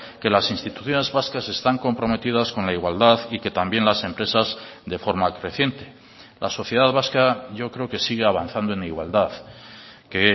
que las instituciones vascas están comprometidas con la igualdad y que también las empresas de forma creciente la sociedad vasca yo creo que sigue avanzando en igualdad que